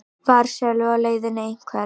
Var Sölvi á leiðinni eitthvert?